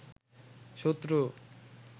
শত্রু